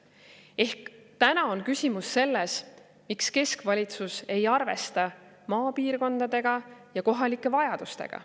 Ehk täna on küsimus selles, miks keskvalitsus ei arvesta maapiirkondadega ja kohalike vajadustega.